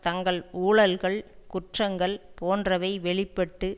தங்கள் ஊழல்கள் குற்றங்கள் போன்றவை வெளி பட்டு